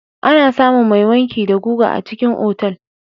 Ana samun mai wanki da guga a cikin otal.